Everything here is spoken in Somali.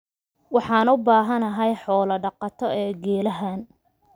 waxaan u baahanahay xoolo daqato ee geelahan